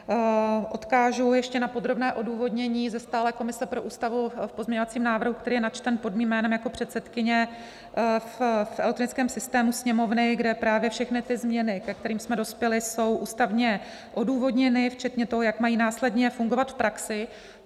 Odkážu ještě na podrobné odůvodnění ze stálé komise pro ústavu v pozměňovacím návrhu, který je načten pod mým jménem jako předsedkyně v elektronickém systému Sněmovny, kde právě všechny ty změny, ke kterým jsme dospěli, jsou ústavně odůvodněny včetně toho, jak mají následně fungovat v praxi.